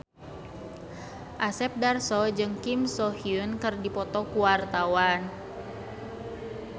Asep Darso jeung Kim So Hyun keur dipoto ku wartawan